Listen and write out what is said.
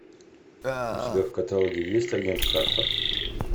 у тебя в каталоге есть агент картер